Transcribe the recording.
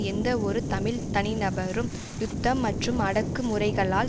எந்தவொரு தமிழ் தனி நபரும் யுத்தம் மற்றும் அடக்கு முறைகளால்